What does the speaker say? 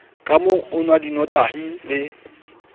kamoo o nwang dinotahi le